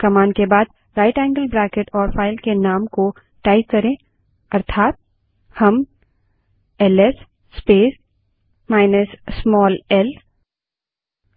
command के बाद right angle bracket और फाइल के नाम को टाइप करें अर्थात हम एलएस स्पेस माइनस स्मॉल ल